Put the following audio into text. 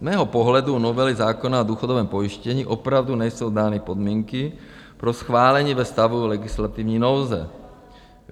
Z mého pohledu u novely zákona o důchodovém pojištění opravdu nejsou dány podmínky pro schválení ve stavu legislativní nouze.